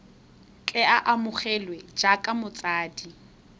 tle a amogelwe jaaka motshabi